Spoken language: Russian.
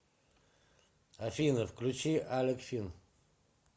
афина включи алек фин